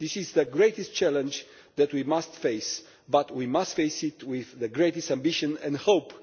This is the greatest challenge that we must face but we must face it with the greatest ambition and hope.